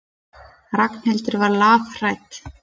Ragnhildur var lafhrædd.